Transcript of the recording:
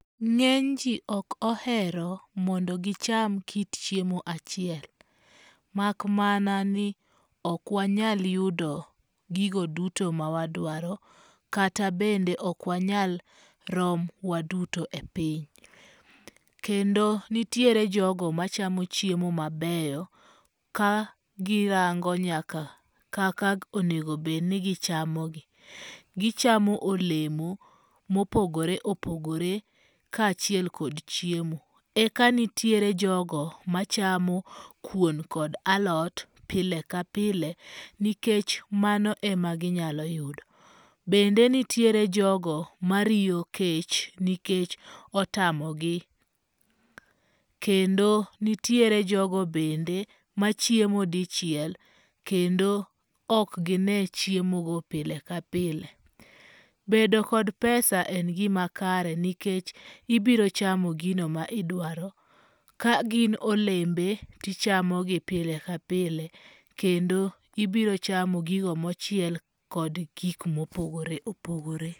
Ng'eny ji ok ohero mondo gicham kit chiemo achiel. Mak mana ni ok wanyal yudo gigo duto ma wadwaro kata bende ok wanyal rom waduto e piny. Kendo nitiere jogo machamo chiemo mabeyo ka girango nyaka kaka onego bed ni gichamogi. Gichamo olemo mopogore opogore, kaachiel kod chiemo. Eka nitiere jogo machamo kuon kod alot pile ka pile nikech mano ema ginyalo yudo. Bende nitie jogo mariyo kech nikech otamogi. Kendo nitiere jogo bende machiemo dichiel kendo ok gine chiemogo pile ka pile. Bedo kod pesa en gima makare nikech ibiro chamo gino ma idwaro. Ka gin olembe, tichamogi pile ka pile, kendo ibiro chamo gigo mochiel kod gik mopogore opogore.